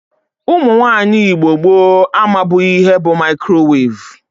Ụmụnwaanyi Igbo gboo amabughi ihe bu mikrowevu.